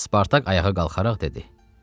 Spartak ayağa qalxaraq dedi: